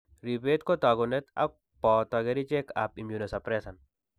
Ribet ko taakunet ak booto kerichekap immunosupressant.